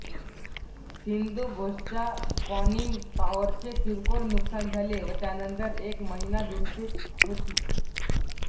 सिंधुघोषच्या conning टॉवरचे किरकोळ नुकसान झाले व त्यानंतर एक महिना दुरुस्तीत होती